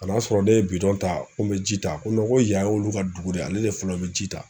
ka n'a sɔrɔ ne ye ta ko n bɛ ji ta ko ko yan y'olu ka dugu de ye, ale de fɔlɔ bɛ ji ta.